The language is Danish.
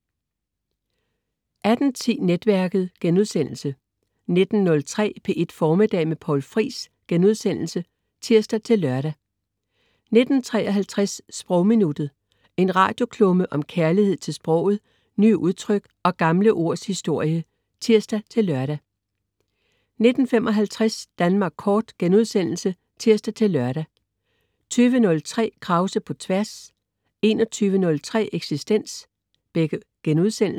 18.10 Netværket* 19.03 P1 Formiddag med Poul Friis* (tirs-lør) 19.53 Sprogminuttet. En radioklumme om kærlighed til sproget, nye udtryk og gamle ords historie (tirs-lør) 19.55 Danmark Kort* (tirs-lør) 20.03 Krause på tværs* 21.03 Eksistens*